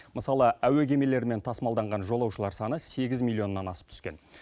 мысалы әуе кемелерімен тасымалданған жолаушылар саны сегіз миллионнан асып түскен